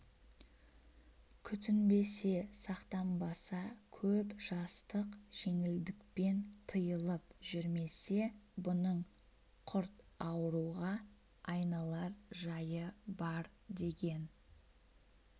күтінбесе сақтанбаса көп жастық жеңілдікпен тыйылып жүрмесе бұның құрт ауруға айналар жайы бар деген